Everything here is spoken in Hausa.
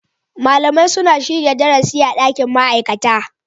Malamai suna shirya darasi a dakin ma'aikata.